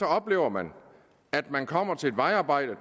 oplever man at man kommer til et vejarbejde